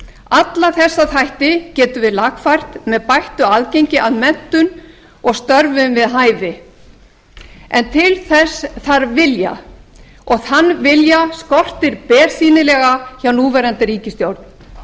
alla þessa þætti getum við lagfært með bættu aðgengi að menntun og stöðum við hæfi en til þess þarf vilja þann vilja skortir bersýnilega hjá núverandi ríkisstjórn